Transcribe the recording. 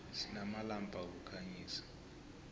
sinamalampa wokukhanyisa